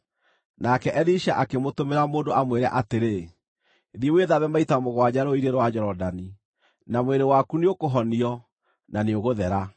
Nake Elisha akĩmũtũmĩra mũndũ amwĩre atĩrĩ, “Thiĩ wĩthambe maita mũgwanja rũũĩ-inĩ rwa Jorodani, na mwĩrĩ waku nĩũkũhonio, na nĩũgũthera.”